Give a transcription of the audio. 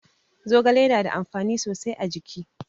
Zogale na da amfani sosai a jiki.